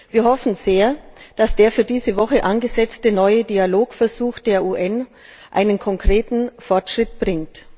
Wir hoffen sehr, dass der für diese Woche angesetzte neue Dialogversuch der UN einen konkreten Fortschritt bringt.